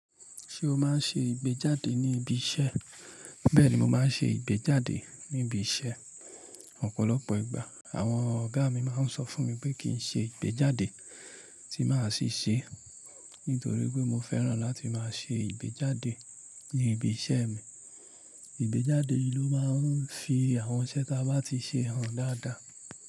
Ṣé o máa ń ṣe ìgbéjáde ní ibi iṣẹ́? Bẹ́ẹ̀ ni, mo máa ń ṣe ìgbéjáde níbi iṣẹ́ ọ̀pọ̀lọpọ̀ ìgbà. Àwọn ọ̀gá mi máa ń sọ fún mi pé kí n ṣe ìgbéjáde tí màá ṣì ṣe, nítorí pé mo fẹ́ràn láti máa ṣe ìgbéjáde ní ibi iṣẹ́ mi. Ìgbéjáde ló máa ń fi àwọn iṣẹ́ ta bá ti ṣe hàn dáadáa.